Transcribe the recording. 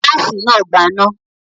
Gáásì náà gbaná.